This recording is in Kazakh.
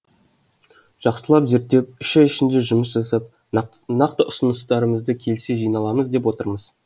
жақсылап зерттеп үш ай ішінде жұмыс жасап нақты ұсыныстарымызды келесіде жиналамыз деп отырмыз